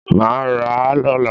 Mà a rà a lọ́la